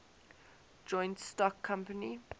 joint stock company